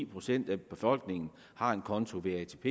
procent af befolkningen har en konto ved atp